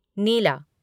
नीला